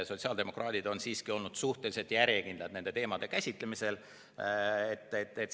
Sotsiaaldemokraadid on siiski olnud suhteliselt järjekindlad nende teemade käsitlemisel.